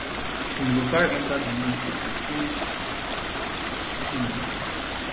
im go carry enta di ministry to change tins